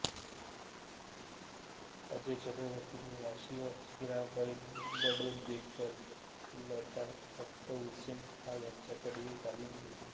अजय चक्रवर्तींनी याशिवाय हिराबाई बडोदेकर लताफत हुसेन खॉं यांच्याकडेही तालीम घेतली